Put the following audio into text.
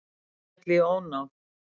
Féll í ónáð